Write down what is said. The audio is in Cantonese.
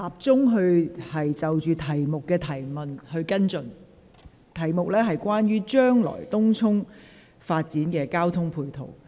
主體質詢的主題關乎將來東涌發展的交通配套。